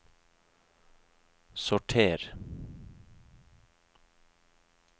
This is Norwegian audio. sorter